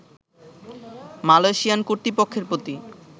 Malaysian কর্তৃপক্ষের প্রতি